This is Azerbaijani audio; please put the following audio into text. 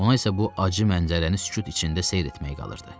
Ona isə bu acı mənzərəni sükut içində seyr etmək qalırdı.